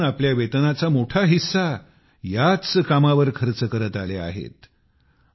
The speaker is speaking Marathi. योगनाथन आपल्या वेतनाचा मोठा हिस्सा याच कामावर खर्च करत आले आहेत